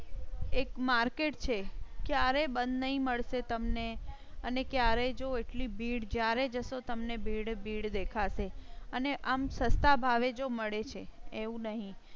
એક market છે ક્યારે બંધ નહીં મળશે તમને અને ક્યારે જો એટલી ભીડ જ્યારે જશો તમને ભીડ ભીડ દેખાશે અને આમ સસ્તા ભાવે જો મળે છે એવું નહિ